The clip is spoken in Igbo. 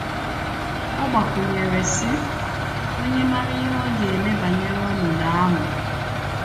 Ọ gbakwụnyere, sị: “ Ònye màarà ihe a ga - eme banyere ọnọdụ ahụ?